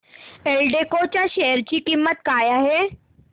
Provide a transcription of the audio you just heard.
एल्डेको च्या शेअर ची किंमत काय आहे